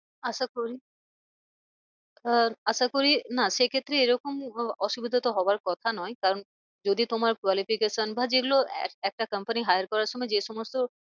আশা করি আহ আশা করি না সে ক্ষেত্রে এরকম অসুবিধা তো হওয়ার কথা নয় কারণ যদি তোমার qualification বা যেগুলো এক একটা comany hire করার সময় যে সমস্ত